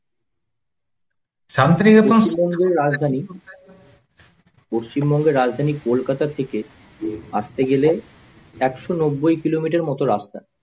পশ্চিমবঙ্গের রাজধানী কোলকাতা থেকে আসতে গেলে একশো নব্যাই কিলোমিটার মতো রাস্তা।